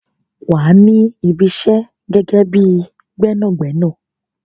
Wà á ní Ibi isẹ́ gẹ́gẹ́ bíi Gbẹ́nàgbẹ́nà.